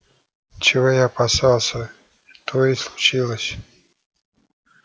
чего я опасался то и случилось